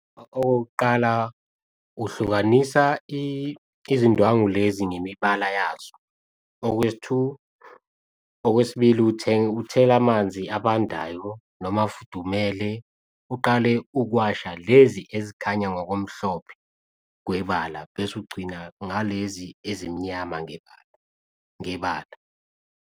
Okokuqala, uhlukanisa izindwangu lezi ngemibala yazo, okwesi two, okwesibili, uthenge uthela amanzi abandayo noma afudumele uqale ukuwasha lezi ezikhanya ngokomhlophe kwebala bese ugcina ngalezi ezimnyama ngebala.